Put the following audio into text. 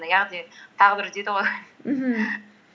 яғни тағы бір